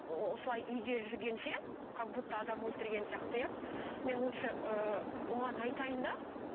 осылай үйде жүргенше как будто адам өлтірген сияқты иә мен лучше ыыы оған айтайын да